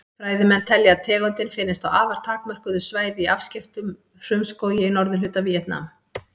Fræðimenn telja að tegundin finnist á afar takmörkuðu svæði í afskekktum frumskógi í norðurhluta Víetnam.